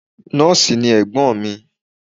Nọ́ọ̀sì ni Ẹ̀gbọ́n mi.